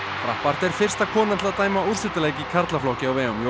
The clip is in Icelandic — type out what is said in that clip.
er fyrsta konan til að dæma úrslitaleik í karlaflokki á vegum